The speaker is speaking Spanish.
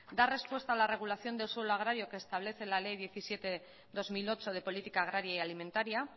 dar respuesta a la regulación del suelo agrario que establece la ley diecisiete barra dos mil ocho de política agraria y alimentaria